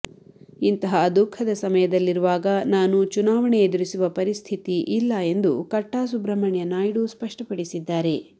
ಇಂತಹ ದುಃಖದ ಸಮಯದಲ್ಲಿರುವಾಗ ನಾನು ಚುನಾವಣೆ ಎದುರಿಸುವ ಪರಿಸ್ಥಿತಿ ಇಲ್ಲ ಎಂದು ಕಟ್ಟಾ ಸುಬ್ರಹ್ಮಣ್ಯನಾಯ್ಡು ಸ್ಪಷ್ಟಪಡಿಸಿದ್ದಾರೆ